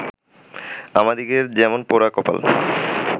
আমাদিগের যেমন পোড়া কপাল